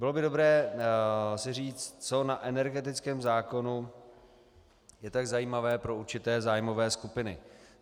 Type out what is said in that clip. Bylo by dobré si říct, co na energetickém zákonu je tak zajímavé pro určité zájmové skupiny.